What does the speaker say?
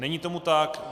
Není tomu tak.